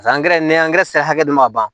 angɛrɛ n'i sera hakɛ dɔ ma ban